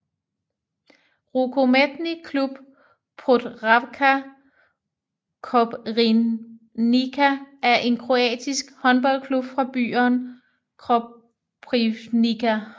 Rukometni Klub Podravka Koprivnica er en kroatisk håndboldklub fra byen Koprivnica